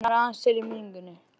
Hann er aðeins til í minningunni.